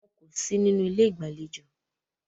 Wọn kò sí nínú ilé ìgbàlejò.